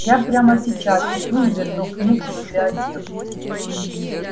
я прямо сейчас иду верну книгу в библиотеку